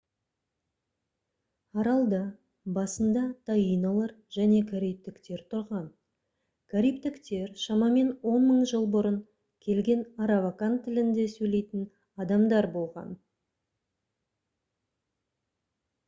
аралда басында таинолар және карибтіктер тұрған карибтіктер шамамен 10 000 жыл бұрын келген аравакан тілінде сөйлейтін адамдар болған